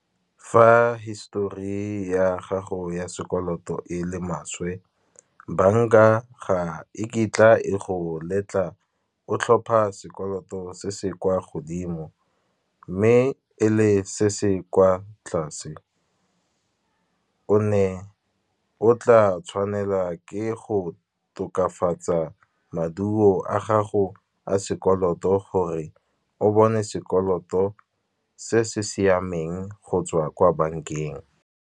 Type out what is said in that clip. Fa histori ya gago ya sekoloto e le maswe, bank-a ga e kitla e go letla o tlhopha sekoloto se se kwa godimo. Mme e le se se kwa tlase, o ne o tla tshwanela ke go tokafatsa maduo a gago a sekoloto, gore o bone sekoloto se se siameng go tswa kwa bank-eng.